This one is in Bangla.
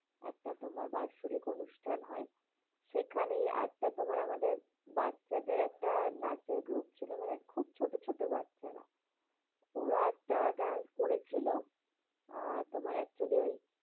একটা তোমার বাৎসরিক অনুষ্ঠান হয়, সেখানেই একটা তোমার আমাদের বাচ্চাদের একটা নাচের group ছিল, মানে খুব ছোট ছোট বাচ্চারা। ওরা একটা dance করেছিল। আহ তোমার actually ওই